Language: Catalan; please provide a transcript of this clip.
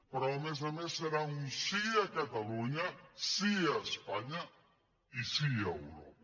però a més a més serà un sí a catalunya sí a espanya i sí a europa